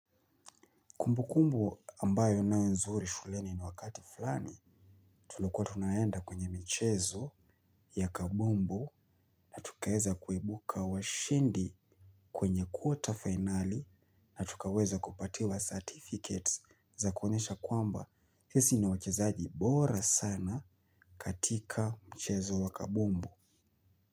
Kumbukumbu ambayo nayo nzuri shuleni ni wakati fulani, tulikuwa tunaenda kwenye michezo ya kabumbu, tukaeza kuibuka washindi kwenye kwota fainali na tukaweza kupatiwa certificates za kuonesha kwamba sisi ni wachezaji bora sana katika mchezo wa kabumbu.